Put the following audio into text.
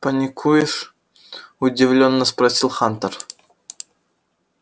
паникуешь удивлённо спросил хантер